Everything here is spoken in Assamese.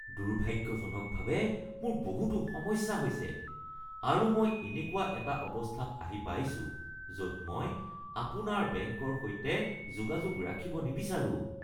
দুৰ্ভাগ্যজনকভাৱে মোৰ বহুতো সমস্যা হৈছে আৰু মই এনেকুৱা এটা অৱস্থাত আহি পাইছো য’ত মই আপোনাৰ বেংকৰ সৈতে যোগাযোগ ৰাখিব নিবিচাৰোঁ (গ্ৰাহক)